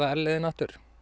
r leiðina